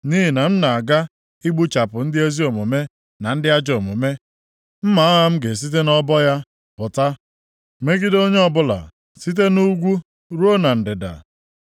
Nʼihi na m na-aga igbuchapụ ndị ezi omume na ndị ajọ omume, mma agha m ga-esite nʼọbọ ya pụta megide onye ọbụla site nʼugwu ruo na ndịda.